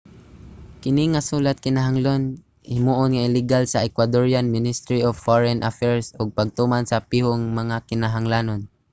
kini nga sulat kinahanglan himuon nga ligal sa ecuadorian ministry of foreign affairs ug pagtuman sa piho nga mga kinahanglanon